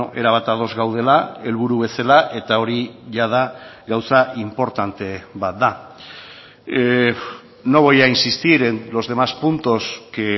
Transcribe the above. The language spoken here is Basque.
erabat ados gaudela helburu bezala eta hori jada gauza inportante bat da no voy a insistir en los demás puntos que